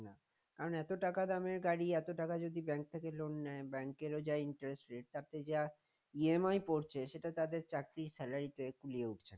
আর এত টাকা দামের গাড়ি এত টাকা যদি bank থেকে loan নেয় bank এর ও যা interest rate তাতে যা EMI পরছে সেটা তাদের চাকরির salary কুলিয়ে উঠছে না